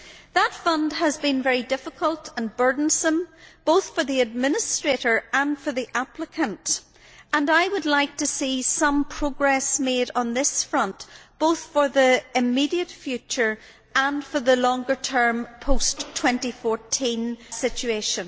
The fund has been very difficult and burdensome, both for the administrator and for the applicant, and I would like to see some progress made on this front both for the immediate future and for the longer term, post 2014 situation.